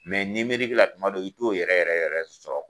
ni mirikila tuma don i t'o yɛrɛ yɛrɛ yɛrɛ sɔrɔ.